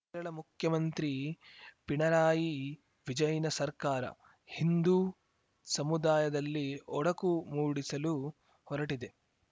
ಕೇರಳ ಮುಖ್ಯಮಂತ್ರಿ ಪಿಣರಾಯಿ ವಿಜಯನ್‌ ಸರ್ಕಾರ ಹಿಂದೂ ಸಮುದಾಯದಲ್ಲಿ ಒಡಕು ಮೂಡಿಸಲು ಹೊರಟಿದೆ